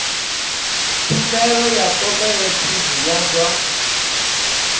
tshumelo ya khophorethivi ya zwa